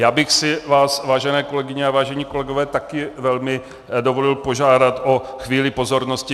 Já bych si vás, vážené kolegyně a vážení kolegové, také velmi dovolil požádat o chvíli pozornosti.